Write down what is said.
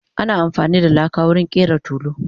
ana afani da laka wurin ƙera tulu